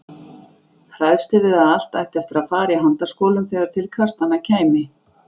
Hræðslu við að allt ætti eftir að fara í handaskolum þegar til kastanna kæmi.